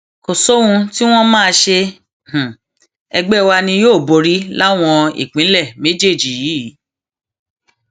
kò sóhun tí wọn máa ṣe ẹgbẹ wa ni yóò borí láwọn ìpínlẹ méjèèjì yìí